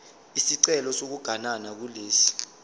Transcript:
isicelo sokuganana kulesi